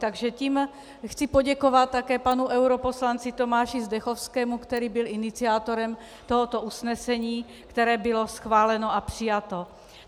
Takže tím chci poděkovat také panu europoslanci Tomáši Zdechovskému, který byl iniciátorem tohoto usnesení, které bylo schváleno a přijato.